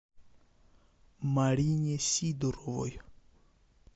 марине сидоровой